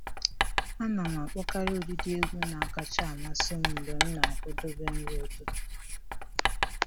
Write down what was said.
Ana m akpọkarị ụdịdị egwu na-akacha amasị m mgbe m na-akwadobe nri ụtụtụ